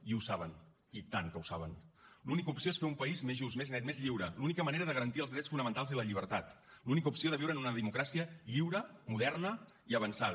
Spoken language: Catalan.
i ho saben i tant que ho saben l’única opció és fer un país més just més net més lliure l’única manera de garantir els drets fonamentals i la llibertat l’única opció de viure en una democràcia lliure moderna i avançada